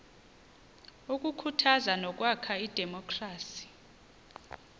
ukukhuthaza nokwakha idemokhrasi